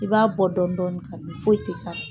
I b'a bɔ dɔni dɔni k'a dun, foyi tɛ k'a la